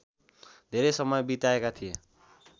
धेरै समय बिताएका थिए